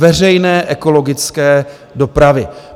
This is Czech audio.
Veřejné, ekologické dopravy.